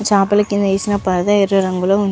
చాపల కింద వేసిన పరదా ఎర్ర రంగులో ఉంది.